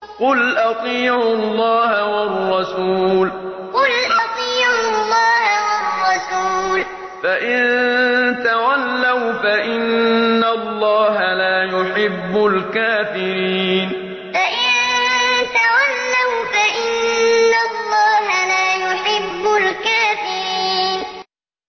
قُلْ أَطِيعُوا اللَّهَ وَالرَّسُولَ ۖ فَإِن تَوَلَّوْا فَإِنَّ اللَّهَ لَا يُحِبُّ الْكَافِرِينَ قُلْ أَطِيعُوا اللَّهَ وَالرَّسُولَ ۖ فَإِن تَوَلَّوْا فَإِنَّ اللَّهَ لَا يُحِبُّ الْكَافِرِينَ